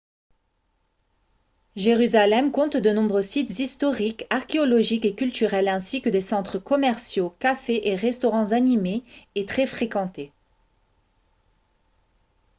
jérusalem compte de nombreux sites historiques archéologiques et culturels ainsi que des centres commerciaux cafés et restaurants animés et très fréquentés